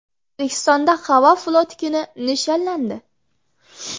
O‘zbekistonda Havo floti kuni nishonlandi .